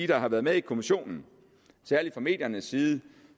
der har været med i kommissionen særlig fra mediernes side